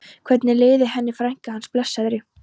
Hvernig liði henni frænku hans, blessaðri?